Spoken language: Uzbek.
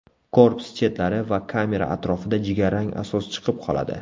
Korpus chetlari va kamera atrofida jigarrang asos chiqib qoladi.